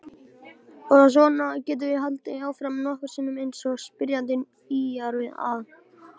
Og svona getum við haldið áfram nokkrum sinnum eins og spyrjandi ýjar að.